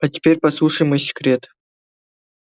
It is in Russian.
а теперь послушай мой секрет